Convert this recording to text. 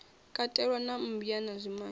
katelwa na mmbwa na zwimange